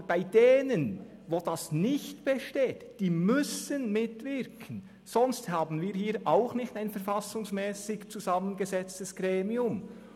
Aber bei denjenigen, bei denen diese nicht besteht, diese müssen mitwirken, sonst haben wir hier nicht ein verfassungsmässig zusammengesetztes Gremium.